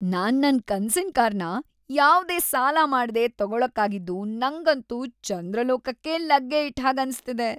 ನಾನ್ ನನ್ ಕನ್ಸಿನ್ ಕಾರ್‌ನ ಯಾವ್ದೇ ಸಾಲ ಮಾಡ್ದೆ ತಗೊಳಕ್ಕಾಗಿದ್ದು ನಂಗಂತೂ ಚಂದ್ರಲೋಕಕ್ಕೇ ಲಗ್ಗೆ ಇಟ್ಟ್‌ ಹಾಗ್ ಅನ್ಸ್ತಿದೆ.